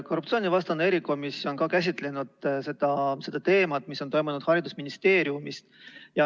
Korruptsioonivastane erikomisjon on ka käsitlenud seda teemat, mis on toimunud haridusministeeriumis.